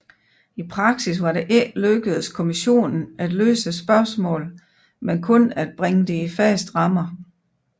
I praksis var det ikke lykkedes kommissionen at løse spørgsmålet men kun at bringe det i faste rammer